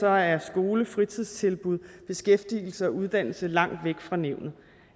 er skolefritidstilbud beskæftigelse og uddannelse langt væk fra nævnet